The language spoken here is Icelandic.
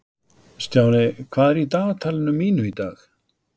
Stjáni, hvað er í dagatalinu mínu í dag?